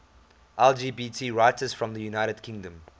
lgbt writers from the united kingdom